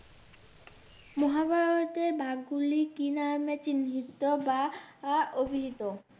মহাভারতের ভাগগুলি কি নামে চিহ্নিত বা আহ অভিহিত?